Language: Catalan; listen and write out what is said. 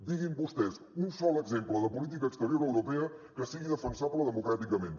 diguin vostès un sol exemple de política exterior europea que sigui defensable democràticament